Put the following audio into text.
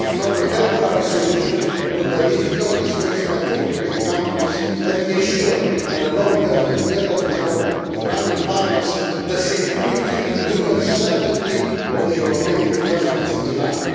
a temporary solution to, the difficulties faced by European companies and to ensure in the long term, together with our Iranian partners, the security and legal certainty of European investments in Iran.